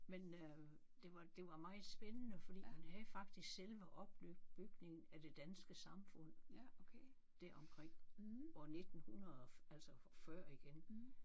Men øh det var det var meget spændende fordi man havde faktisk selve opbygningen af det danske samfund deromkring år 1900 altså og før igen